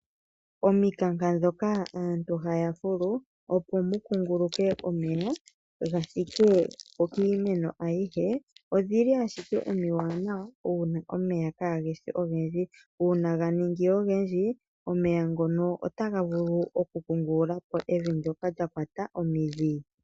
Ominkanka ndhoka aantu haya fulu opo mu kunguluke omeya ga thike kohi yiimeno ayihe . Odhili ashike omiwaanawa uuna omeya kaageshi ogendji , uuna ga ningi ogendji omeya ngono otaga vulu okunkungululapo evi ndoka lya kwata omidhi .